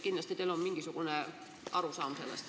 Kindlasti on teil sellest mingisugune arusaam olemas.